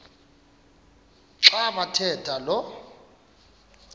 xa bathetha lo